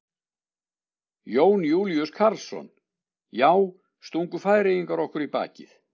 Jón Júlíus Karlsson: Já, stungu Færeyingar okkur í bakið?